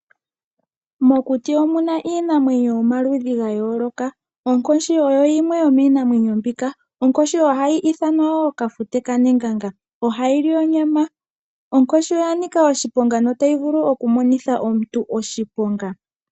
Mokuti omuna iinamwenyo yomaludhi gayooloka, onkoshi oyo yimwe yomiinamwenyo mbika. Onkoshi oha yi ithanwa woo kafute kaneganga, oha yi li onyama. Onkoshi oyanika oshiponga, nota yi vulu okumonitha omuntu oshiponga.